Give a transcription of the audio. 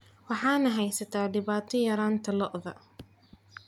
Waxaa na haysata dhibaato yaraanta lo'da.